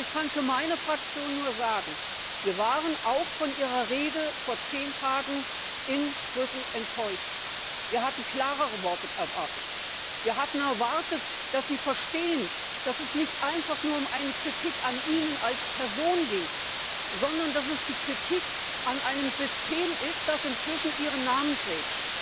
Und ich kann für meine Fraktion nur sagen Wir waren auch von Ihrer Rede vor zehn Tagen in Brüssel enttäuscht! Wir hatten klarere Worte erwartet. Wir hatten erwartet, dass Sie verstehen, dass es nicht einfach nur um eine Kritik an Ihnen als Person geht, sondern dass es die Kritik an einem System ist, das inzwischen Ihren Namen trägt.